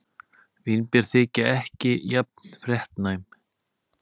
Vínber þykja ekki jafn fréttnæm.